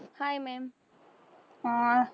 hi mam